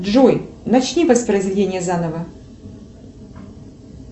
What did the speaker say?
джой начни воспроизведение заново